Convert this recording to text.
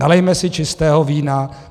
Nalijme si čistého vína.